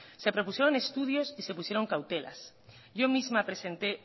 se propusieron estudios y se pusieron cautelas yo misma presenté